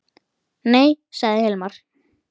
Nei, sagði Hilmar.